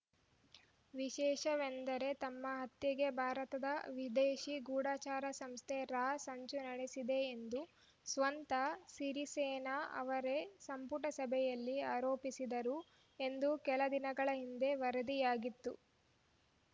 ವಿಶೇಷವೆಂದರೆ ತಮ್ಮ ಹತ್ಯೆಗೆ ಭಾರತದ ವಿದೇಶಿ ಗೂಢಚರ ಸಂಸ್ಥೆ ರಾ ಸಂಚು ನಡೆಸಿದೆ ಎಂದು ಸ್ವತಃ ಸಿರಿಸೇನಾ ಅವರೇ ಸಂಪುಟ ಸಭೆಯಲ್ಲಿ ಆರೋಪಿಸಿದ್ದರು ಎಂದು ಕೆಲ ದಿನಗಳ ಹಿಂದೆ ವರದಿಯಾಗಿತ್ತು